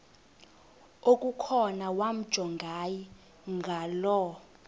okukhona wamjongay ngaloo